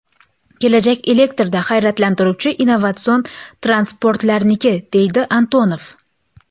Kelajak elektrda harakatlanuvchi innovatsion transportlarniki”, deydi Antonov.